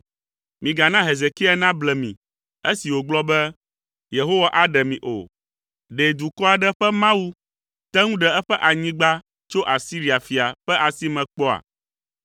“Migana Hezekia nable mi esi wògblɔ be, ‘Yehowa aɖe mi’ o. Ɖe dukɔ aɖe ƒe Mawu te ŋu ɖe eƒe anyigba tso Asiria fia ƒe asi me kpɔa?